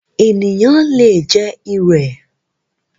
Ènìyàn le jẹ “ ìrẹ̀”.